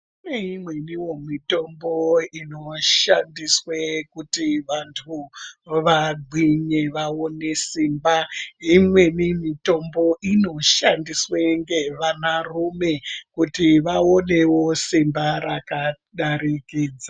Kune imweniwo mitombo inoshandiswe kuti vantu vagwinye vaone simba, neimweni mitombo inoshandiswe ngevanarume kuti vaonewo simba rakadarikidza.